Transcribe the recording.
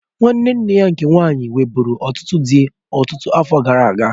Nwanne nne ya nke nwaanyị nwebụ̀ru ọtụtụ dị ọtụtụ afọ gara aga.